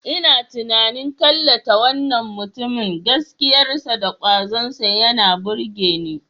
Ina tunanin tallata wannan mutumin, gaskiyarsa da kwazonsa yana burge ni.